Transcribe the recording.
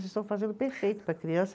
Vocês estão fazendo perfeito para a criança.